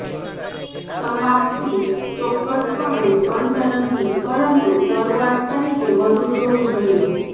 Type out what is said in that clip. સમાપ્તિ ચોક્કસપણે અંત નથી પરંતુ શરૂઆત તરીકે વધુ જોવું જોઈએ